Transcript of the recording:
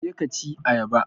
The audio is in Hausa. Je ka ci ayaba!